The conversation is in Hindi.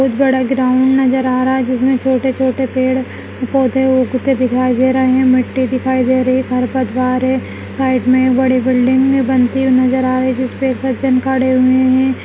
एक बड़ा ग्राउन्ड नजर आ रहा है जिसमे छोटे छोटे पेड़ पोधे उगते दिखाई दे रहे हैं मिट्टी दिखाई दे रही है खरपतबार है साइड मै बड़ी बिल्डिंग भी बनती हुयी नजर आ रही है जिसपे एक सज्जन खड़े हुए हैं ।